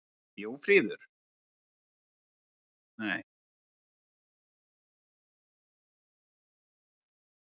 Jóríður, hver er dagsetningin í dag?